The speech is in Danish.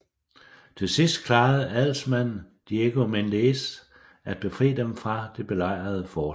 Til sidst klarede adelsmanden Diego Méndez at befri dem fra det belejrede fort